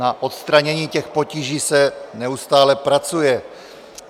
Na odstranění těch potíží se neustále pracuje.